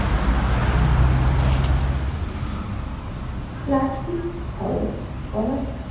plastic খরচ কমাতে